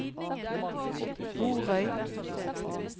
Borøy